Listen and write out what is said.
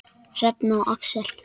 Hrefna og Axel.